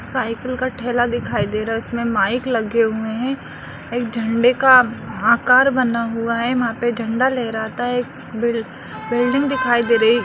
cycle का ठेला दिखाई दे रहा है इसमें माइक लगे हुए हैं एक झंडे का आकार बना हुआ है वहाँ पे झंडा लहराता एक बिल बिल्डिंग दिखाई दे रही --